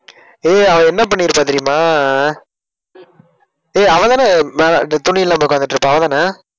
ஏய் அவ என்ன பண்ணியிருப்பா தெரியுமா ஏய் அவதானே ஆஹ் மேல இந்த துணி இல்லாம உட்கார்ந்துட்டு இருப்பா அவதான